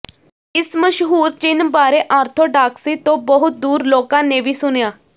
ਇਸ ਮਸ਼ਹੂਰ ਚਿੰਨ੍ਹ ਬਾਰੇ ਆਰਥੋਡਾਕਸਿ ਤੋਂ ਬਹੁਤ ਦੂਰ ਲੋਕਾਂ ਨੇ ਵੀ ਸੁਣਿਆ